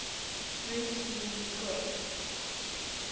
root mean square